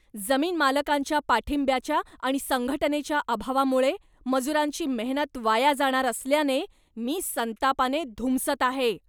जमीनमालकांच्या पाठिंब्याच्या आणि संघटनेच्या अभावामुळे मजुरांची मेहनत वाया जाणार असल्याने मी संतापाने धुमसत आहे.